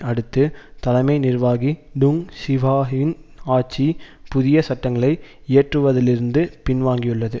அடுத்து தலைமை நிர்வாகி டுங் சீஹ்வாயின் ஆட்சி புதிய சட்டங்களை இயற்றுவதிலிருந்து பின்வாங்கியுள்ளது